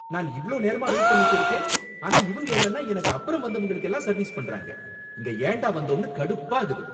நான் இவ்ளோ நேரமா வெயிட் பண்ணிட்டு இருக்கேன், ஆனா இவங்க என்னன்னா எனக்கு அப்பறம் வந்தவங்களுக்கெல்லாம் சர்வீஸ் பண்றாங்க. இங்கே ஏன்டா வந்தோம்னு கடுப்பாகுது.